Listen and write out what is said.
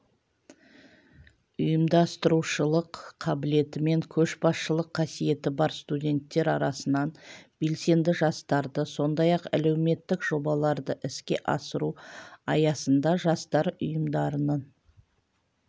ұйымдастырушылық қабілеті мен көшбасшылық қасиеті бар студенттер арасынан белсенді жастарды сондай-ақ әлеуметтік жобаларды іске асыру аясында жастар ұйымдарының